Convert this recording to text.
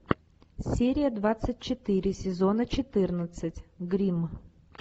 серия двадцать четыре сезона четырнадцать гримм